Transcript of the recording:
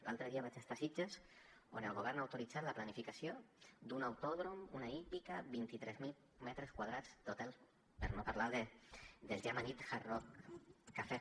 l’altre dia vaig estar a sitges on el govern ha autoritzat la planificació d’un autòdrom una hípica vint tres mil metres quadrats totals per no parlar del ja amanit hard rock cafè